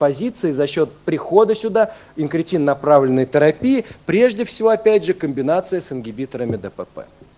позиции за счёт прихода сюда инкретин направленный терапии прежде всего опять же комбинация с ингибиторами дпп